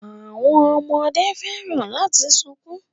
Àwọn ọmọdé fẹ́ràn láti sunkún